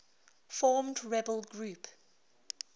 formed rebel group